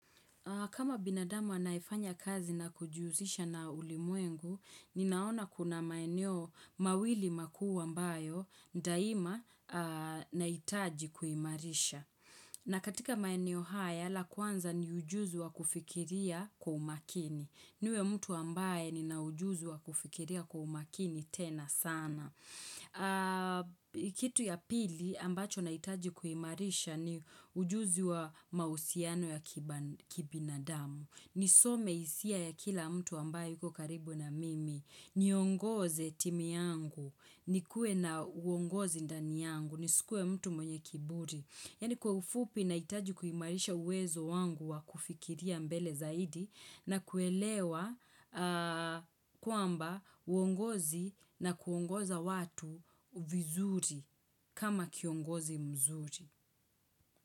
Kama binadama anayefanya kazi na kujihusisha na ulimwengu, ninaona kuna maeneo mawili makuu ambayo daima nahitaji kuimarisha. Na katika maeneo haya, la kwanza ni ujuzi wa kufikiria kwa umakini. Niwe mtu ambaye nina ujuzi wa kufikiria kwa umakini tena sana. Kitu ya pili ambacho nahitaji kuimarisha ni ujuzi wa mahusiano ya kibinadamu, nisome hisia ya kila mtu ambaye yuko karibu na mimi. Niongoze timi yangu, nikuwe na uongozi ndani yangu, nisikuwe mtu mwenye kiburi, yani kwa ufupi nahitaji kuimarisha uwezo wangu wa kufikiria mbele zaidi na kuelewa kwamba uongozi na kuongoza watu vizuri kama kiongozi mzuri.